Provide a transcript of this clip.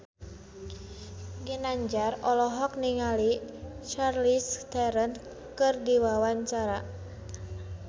Ginanjar olohok ningali Charlize Theron keur diwawancara